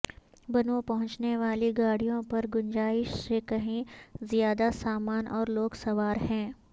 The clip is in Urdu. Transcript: بنوں پہنچنے والی گاڑیوں پرگنجائش سے کہیں زیادہ سامان اور لوگ سوار ہیں